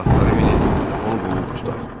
Atları minin, onu qovub tutaq!